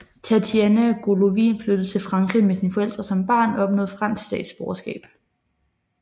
Tatiana Golovin flyttede til Frankrig med sine forældre som barn og opnåede fransk statsborgerskab